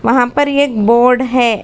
वहां पर ये एक बोर्ड है।